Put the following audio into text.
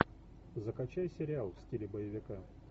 закачай сериал в стиле боевика